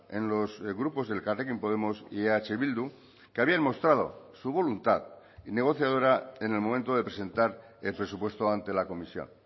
en los grupos de elkarrekin podemos y eh bildu que habían mostrado su voluntad negociadora en el momento de presentar el presupuesto ante la comisión